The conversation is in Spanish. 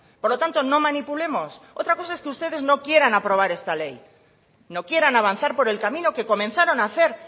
por lo tanto no manipulemos otra cosa es que ustedes no quieran aprobar esta ley no quieran avanzar por el camino que comenzaron a hacer